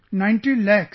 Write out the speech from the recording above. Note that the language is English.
90 Lakhs